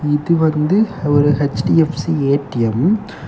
இது வந்து ஒரு ஹெச்_டி_எஃப்_சி ஏ_டி_எம் .